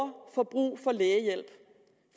får brug for lægehjælp